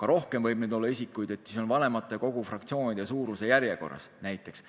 ka rohkem võib neid isikuid olla: vanematekogu fraktsioonide suuruse järjekorras näiteks.